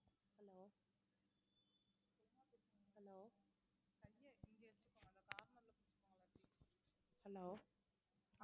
hello hello hello